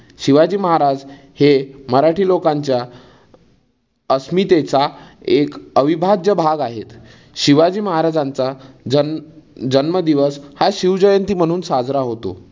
शिवाजी महाराज हे मराठी लोकांच्या अस्मितेचा एक अविभाज्य भाग आहेत. शिवाजी महाराजांचा जन जन्म दिवस हा शिव जयंती म्हणून साजरा होतो.